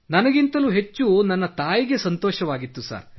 ನನಗಿಂತಲೂ ಹೆಚ್ಚು ನನ್ನ ತಾಯಿಗೆ ಸಂತೋಷವಾಗಿತ್ತು ಸರ್